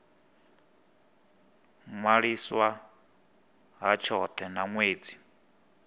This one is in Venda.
ṅwaliswa ha tshothe na ṅwedzi